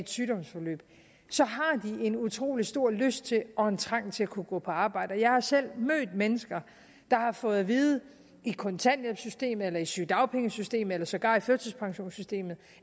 sygdomsforløb har en utrolig stor lyst til og en trang til at kunne gå på arbejde jeg har selv mødt mennesker der har fået at vide i kontanthjælpssystemet eller i sygedagpengesystemet eller sågar i førtidspensionssystemet